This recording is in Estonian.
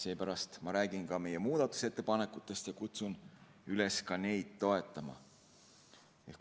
Seepärast ma räägin ka meie muudatusettepanekutest ja kutsun üles neid toetama.